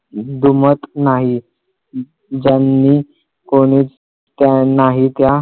दुमत नाही ज्यांनी कोणी त्या नाही त्या